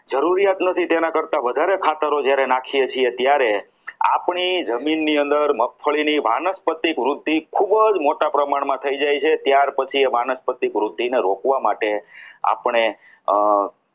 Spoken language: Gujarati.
જરૂરિયાત નથી તેના કરતાં વધારે ખાતર જ્યારે નાખીએ છીએ ત્યારે આપણી જમીનની મગફળીની અંદર વાનસ્પતિ વૃદ્ધિ ખૂબ જ મોટા પ્રમાણમાં થઈ જાય છે ત્યારબાદ એ માણસની વૃદ્ધિને રોકવા માટે આપણે